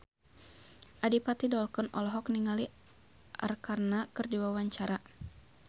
Adipati Dolken olohok ningali Arkarna keur diwawancara